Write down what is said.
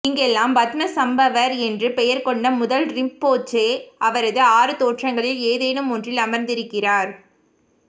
இங்கெல்லாம் பத்மசம்பவர் என்று பெயர் கொண்ட முதல் ரிம்போச்சே அவரது ஆறு தோற்றங்களில் ஏதேனும் ஒன்றில் அமர்ந்திருக்கிறார்